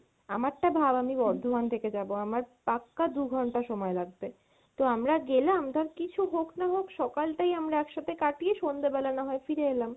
আমার টা ভাব আমি বর্ধমান থেকে যাবো, আমার পাক্কা দু ঘন্টা সময় লাগবে। তো আমরা গেলাম ধর কিছু হোক না হোক সকাল টাই আমরা একসাথে কাটিয়ে সন্ধেবেলা না হয় ফিরে এলাম।